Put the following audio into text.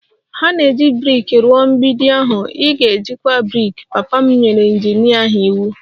Ha na-eji brik rụọ mgbidi ahụ, ị ga-ejikwa brik! Papa m nyere injinia ahụ iwu